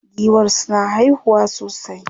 Giwa suna haihuwa sosai.